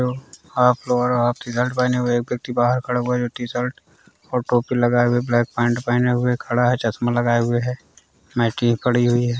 Half lower और half T-shirt पहने हुए एक व्यक्ति बाहर खड़ा हुआ है जो टी-शर्ट और टोपी लगाए हुए ब्लाक पैंट पहने हुए खड़ा है चश्मा लगाए हुए है | खड़ी हुई है।